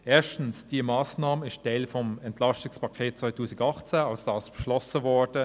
Erstens ist diese Massnahme Teil des EP 18, welches beschlossen wurde.